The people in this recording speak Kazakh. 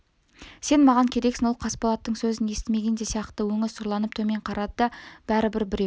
сен маған керексің ол қасболаттың сөзін естімеген де сияқты өңі сұрланып төмен қарады бәрі бір біреу